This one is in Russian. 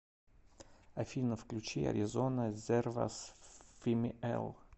афина включи аризона зервас фимиэл